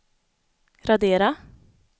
radera